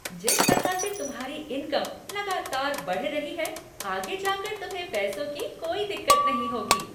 जिस तरह से तुम्हारी इनकम लगातार बढ़ रही है, आगे जाकर तुम्हें पैसों की कोई दिक्कत नहीं होगी!